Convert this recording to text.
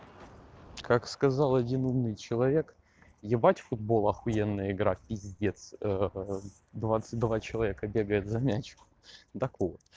как сказал один умный человек ебать футбол охуенная игра пиздец двадцать два человека бегают за мячиком так вот